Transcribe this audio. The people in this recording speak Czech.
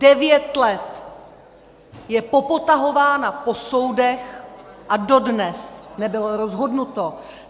Devět let je popotahována po soudech a dodnes nebylo rozhodnuto.